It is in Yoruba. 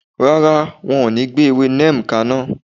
Rárá, won o ní gbé ewé neem kaná